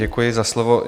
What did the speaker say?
Děkuji za slovo.